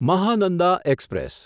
Mahananda express